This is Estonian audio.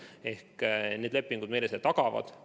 Seda need lepingud meile tagavad.